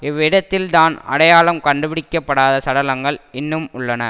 இவ்விடத்தில்தான் அடையாளம் கண்டுபிடிக்க படாத சடலங்கள் இன்னும் உள்ளன